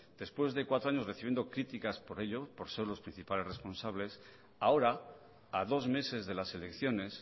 después de cuatro año recibiendo críticas por ello por ser los principales responsables ahora a dos meses de las elecciones